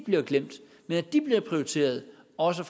bliver glemt men at de bliver prioriteret også